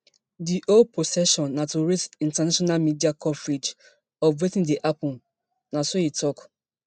di whole procession na to raise international media coverage of wetin dey happun na so e tok